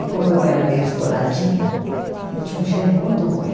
E como eu era meio estouradinha, eu tinha um gênio muito ruim.